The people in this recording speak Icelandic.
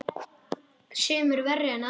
Sumir verri en aðrir.